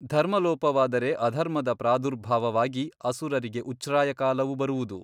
ಧರ್ಮಲೋಪವಾದರೆ ಅಧರ್ಮದ ಪ್ರಾದುರ್ಭಾವವಾಗಿ ಅಸುರರಿಗೆ ಉಚ್ಛ್ರಾಯಕಾಲವು ಬರುವುದು.